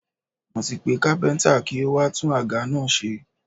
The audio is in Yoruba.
Mo ti pe kápẹ́ntà kí ó wá tún àga náà ṣe.